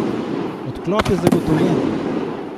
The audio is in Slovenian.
Odklop je zagotovljen.